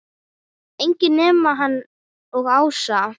Enginn nema hann og Ása.